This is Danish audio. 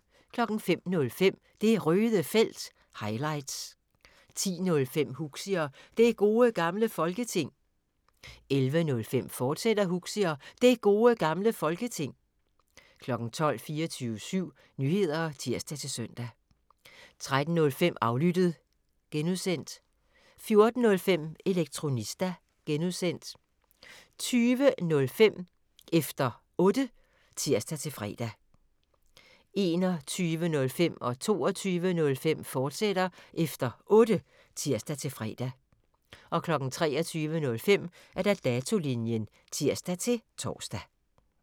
05:05: Det Røde Felt – highlights 10:05: Huxi og Det Gode Gamle Folketing 11:05: Huxi og Det Gode Gamle Folketing, fortsat 12:00: 24syv Nyheder (tir-søn) 13:05: Aflyttet (G) 14:05: Elektronista (G) 20:05: Efter Otte (tir-fre) 21:05: Efter Otte, fortsat (tir-fre) 22:05: Efter Otte, fortsat (tir-fre) 23:05: Datolinjen (tir-tor)